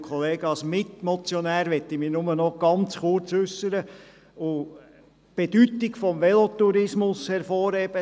Als Mitmotionär möchte ich mich nur noch ganz kurz äussern und die Bedeutung des Velotourismus hervorheben.